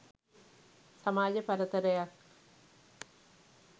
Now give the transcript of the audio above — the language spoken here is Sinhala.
සමාජ පරතරයක්